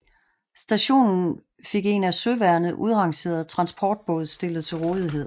Stationen fik en af søværnet udrangeret transportbåd stillet til rådighed